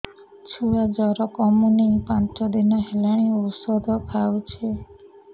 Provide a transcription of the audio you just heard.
ଛୁଆ ଜର କମୁନି ପାଞ୍ଚ ଦିନ ହେଲାଣି ଔଷଧ ଖାଉଛି